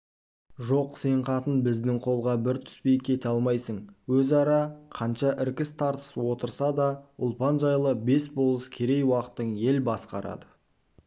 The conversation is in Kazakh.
жоқ сен қатың біздің қолға бір түспей кете алмайсың өзара қанша іркіс-тартыс отырса да ұлпан жайлы бес болыс керей-уақтың ел басқарады